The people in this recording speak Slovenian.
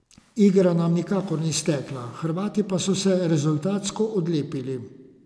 Igra nam nikakor ni stekla, Hrvati pa so se rezultatsko odlepili.